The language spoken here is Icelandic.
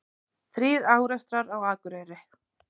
Þrír árekstrar á Akureyri